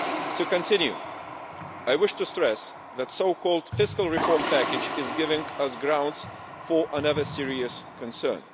To continue, I wish to stress that the so-called fiscal reform package is giving us grounds for another serious concern.